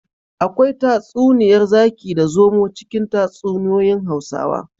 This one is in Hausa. Akwai tatsuniyar zaki da zomo cikin tatsuniyoyin hausawa